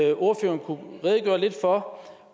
at ordføreren kunne redegøre lidt for